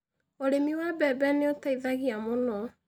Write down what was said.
Ũrĩmi wa mbembe nĩ ũteithagia mũno.